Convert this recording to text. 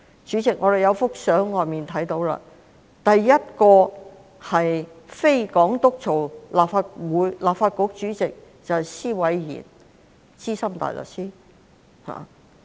主席，我們可以從門外的照片看到，首位由非港督擔任的立法局主席是施偉賢資深大律師。